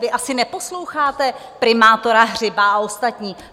Vy asi neposloucháte primátora Hřiba a ostatní?